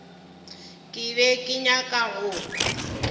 ke be ke nyaka go